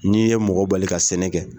N'i ye mɔgɔ bali ka sɛnɛ kɛ